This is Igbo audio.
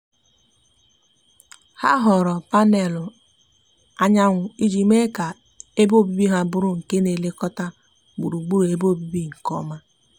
ha họọrọ panęlụ anyanwu iji mee ka ebe obibi ha bụrụ nke na elekota gburugburu ebe obibi nke oma